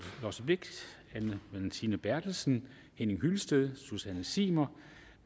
blixt anne valentina berthelsen henning hyllested susanne zimmer og